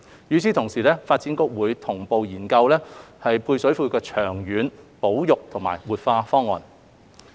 與此同時，發展局會同步研究配水庫的長遠保育和活化方案。